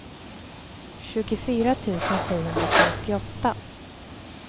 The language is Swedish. tjugofyra tusen sjuhundrafemtioåtta